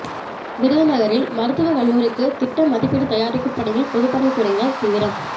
விருதுநகரில் மருத்துவக் கல்லூரிக்கு திட்ட மதிப்பீடுதயாரிக்கும் பணியில் பொதுப்பணித் துறையினா் தீவிரம்